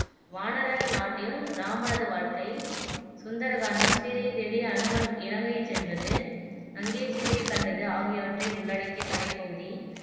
வானரர் நாட்டில் இராமனது வாழ்க்கை சுந்தர காண்டம் சீதையைத் தேடி அனுமன் இலங்கைச் சென்றது அங்கே சீதையைக் கண்டது ஆகியவற்றை உள்ளடக்கிய கதைப் பகுதி